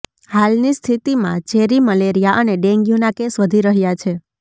હાલની સ્થિતિમાં ઝેરી મેલેરિયા અને ડેન્ગ્યૂના કેસ વધી રહ્યા છે